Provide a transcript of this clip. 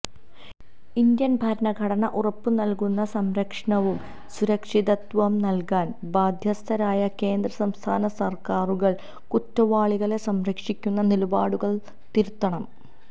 Indian ഭരണഘടന ഉറപ്പു നല്കുന്ന സംരക്ഷണവും സുരക്ഷിതത്വവും നല്കാന് ബാധ്യസ്ഥരായ കേന്ദ്ര സംസ്ഥാന സര്ക്കാരുകള് കുറ്റവാളികളെ സംരക്ഷിക്കുന്ന നിലപാടുകള് തിരുത്തണം